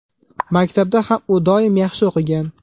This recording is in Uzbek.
Maktabda ham u doim yaxshi o‘qigan.